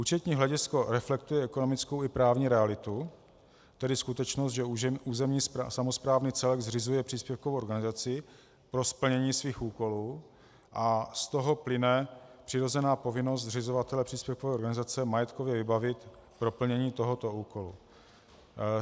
Účetní hledisko reflektuje ekonomickou i právní realitu, tedy skutečnost, že územní samosprávný celek zřizuje příspěvkovou organizaci pro splnění svých úkolů, a z toho plyne přirozená povinnost zřizovatele příspěvkové organizace majetkově vybavit pro plnění tohoto úkolu.